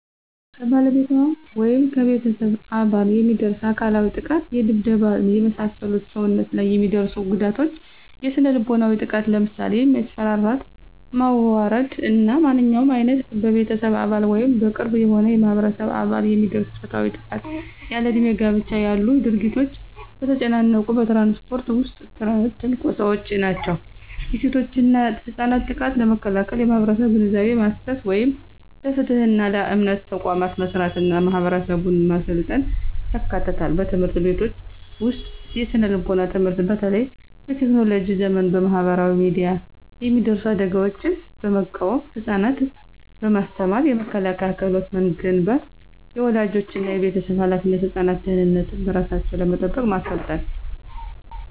ከባለቤቷ ወይም ከቤተሰብ አባል የሚደርስ አካላዊ ጥቃት የድብደባ፣ የመሳሰሉ ሰውነት ላይ የሚደርሱ ጉዳቶች። የስነ-ልቦናዊ ጥቃት ለምሳሌ የማስፈራራት፣ ማዋረድ እና ማንኛውም ዓይነት በቤተሰብ አባል ወይም በቅርብ የሆነ የማህበረሰብ አባል የሚደርስ ፆታዊ ጥቃት። ያለእድሜ ጋብቻ ያሉ ድርጊቶች። በተጨናነቁ በትራንስፖርት ውስጥ ትንኮሳዎች ናቸው። የሴቶችና ህጻናት ጥቃትን ለመከላከል የማህበረሰብ ግንዛቤ ማሰስ፣ ይህም ለፍትህና ለየእምነት ተቋማት መስራትና ማህበረሰቡን ማሰልጠን ያካትታል። በትምህርት ቤቶች ውስጥ የስነ-ምግባር ትምህርት በተለይ በቴክኖሎጂ ዘመን በማህበራዊ ሚዲያ የሚደርሱ አደጋዎችን በመቃወም ህፃናትን በማስተማር የመከላከያ ክህሎት መገንባት። · የወላጆችና የቤተሰብ ኃላፊነት ህፃናትን ደህንነታቸውን በራሳቸው ለመጠበቅ ማሰልጠን።